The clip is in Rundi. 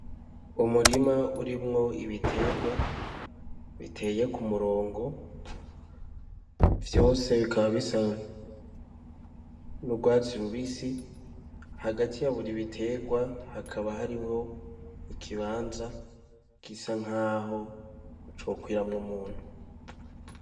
Umurima urimwo ibitegwa biteye ku murongo vyose bikaba bisa n'ugwatsi rubisi, hagati ya buri bitegwa hakaba harimwo ikibanza gisa nkaho co kwiramwo umuntu.